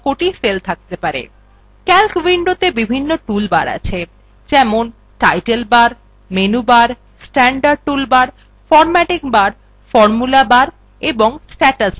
calc windowত়ে বিভিন্ন toolbars আছে : যেমন title bar menu bar standard toolbars formatting bar formula bar এবং status bar